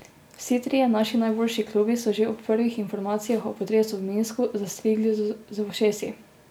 Vsi trije naši najboljši klubi so že ob prvih informacijah o potresu v Minsku zastrigli z ušesi.